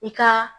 I ka